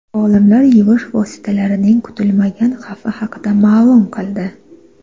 Olimlar yuvish vositalarining kutilmagan xavfi haqida ma’lum qildi.